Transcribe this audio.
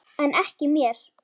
En ekki mér.